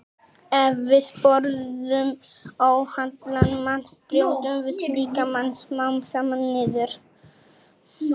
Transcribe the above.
Ef við borðum óhollan mat brjótum við líkamann smám saman niður.